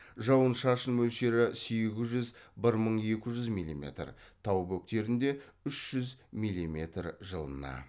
жауын шашын мөлшері сегіз жүз бір мың екі жүз миллиметр тау бөктерінде үш жүз миллиметр жылына